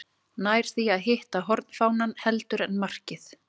Nær því að hitta hornfánann heldur en markið.